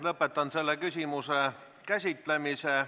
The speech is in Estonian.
Lõpetan selle küsimuse käsitlemise.